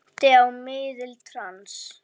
Minnti á miðil í trans.